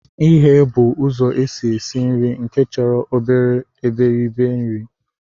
Ighe bụ ụzọ esi esi nri nke chọrọ obere iberibe nri